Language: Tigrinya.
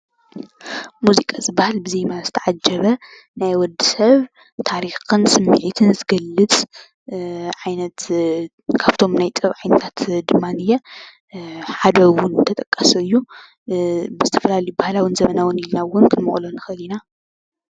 ሙዚቃ ዝበሃል ብዜማ ዝተዓጀበ ናይ ወድ ሰብ ታሪኽ ከም ስምዒትን ዝገልፅ ዓይነት ካብቶም ናይ ጥበብ ዓይነታት ድማ ንየ ሓደ ውን ተጠቃሲ እዩ ብዝተፈላለዩ ባህላውን ዘበናውን ኢልና ውን ክንመቅሎ ንኽእል ኢና ።